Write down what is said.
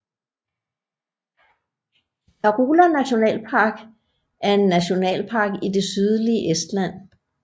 Karula Nationalpark er nationalpark i det sydlige Estland